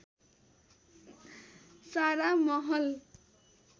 सारा महल